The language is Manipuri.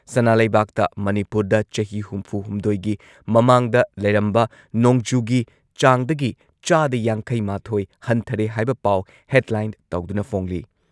ꯁꯅꯥ ꯂꯩꯕꯥꯛꯇ ꯃꯅꯤꯄꯨꯔꯗ ꯆꯍꯤ ꯍꯨꯝꯐꯨꯍꯨꯝꯗꯣꯏꯒꯤ ꯃꯃꯥꯡꯗ ꯂꯩꯔꯝꯕ ꯅꯣꯡꯖꯨꯒꯤ ꯆꯥꯡꯗꯒꯤ ꯆꯥꯗ ꯌꯥꯡꯈꯩꯃꯥꯊꯣꯏ ꯍꯟꯊꯔꯦ ꯍꯥꯏꯕ ꯄꯥꯎ ꯍꯦꯗꯂꯥꯏꯟ ꯇꯧꯗꯨꯅ ꯐꯣꯡꯂꯤ꯫